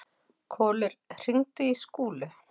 Kolur, hringdu í Skúlu.